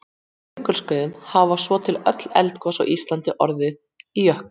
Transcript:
Á jökulskeiðum hafa svo til öll eldgos á Íslandi orðið í jöklum.